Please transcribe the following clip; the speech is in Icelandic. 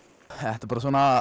þetta er bara